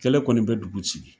Kɛlɛ kɔni bɛ dugu ci.